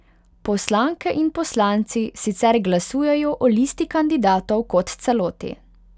Poslanke in poslanci sicer glasujejo o listi kandidatov kot celoti.